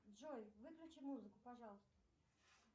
джой выключи музыку пожалуйста